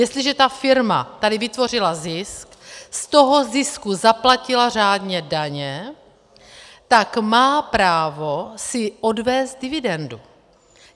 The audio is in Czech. Jestliže ta firma tady vytvořila zisk, z toho zisku zaplatila řádně daně, tak má právo si odvézt dividendu.